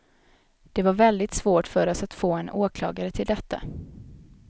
Det var väldigt svårt för oss att få en åklagare till detta.